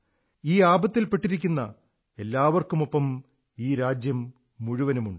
ഈ ആപത്തിൽ പെട്ടിരിക്കുന്ന എല്ലാവർക്കുമൊപ്പം ഈ രാജ്യം മുഴുവനുണ്ട്